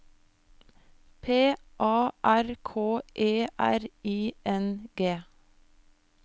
P A R K E R I N G